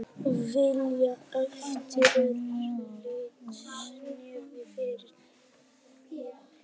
Vilja eftirlitsnefnd fyrir þingnefnd